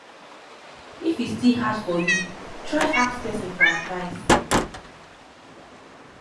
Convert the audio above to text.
if e still hard for yu try ask pesin for advice